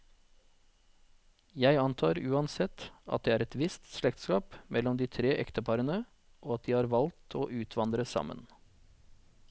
Jeg antar uansett, at det er et visst slektskap mellom de tre ekteparene, og at de har valgt å utvandre sammen.